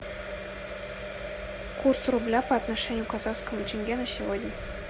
курс рубля по отношению к казахскому тенге на сегодня